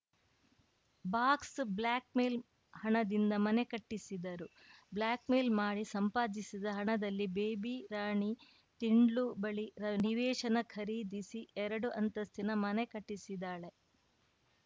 box blackmail ಹಣದಿಂದ ಮನೆ ಕಟ್ಟಿಸಿದರು ಬ್ಲಾಕ್‌ಮೇಲ್‌ ಮಾಡಿ ಸಂಪಾದಿಸಿದ ಹಣದಲ್ಲಿ ಬೇಬಿ ರಾಣಿ ತಿಂಡ್ಲು ಬಳಿ ನಿವೇಶನ ಖರೀದಿಸಿ ಎರಡು ಅಂತಸ್ತಿನ ಮನೆ ಕಟ್ಟಿಸಿದ್ದಾಳೆ